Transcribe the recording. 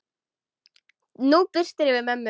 Nú birtir yfir mömmu.